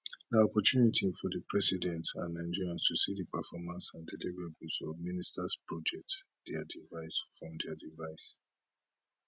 na opportunity for di president and nigerians to see di performance and deliverables of ministers projects dia device from dia device